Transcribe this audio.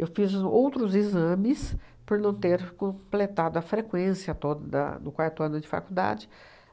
Eu fiz outros exames por não ter completado a frequência toda do quarto ano de faculdade